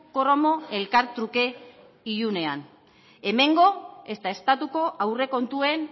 kromo elkartruke ilunean hemengo ezta estatuko aurrekontuen